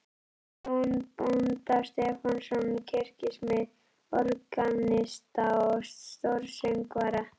Jón bónda Stefánsson, kirkjusmið, organista og stórsöngvara.